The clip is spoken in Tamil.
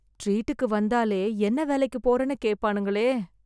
டீரீட்டுக்கு வந்தாலே என்ன வேலைக்குப் போறனு கேட்பானுங்களே